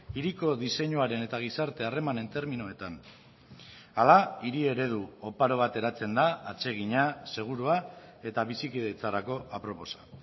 hiriko diseinuaren eta gizarte harremanen terminoetan hala hiri eredu oparo bat eratzen da atsegina segurua eta bizikidetzarako aproposa